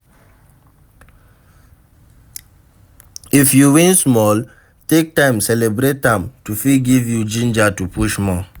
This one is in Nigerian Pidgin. If you win small, take time celebrate am to fit give you ginger to push more